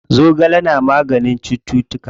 Zogale na maganin cuttutuka.